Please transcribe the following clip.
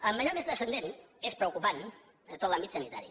en allò més transcendent és preocupant tot l’àmbit sanitari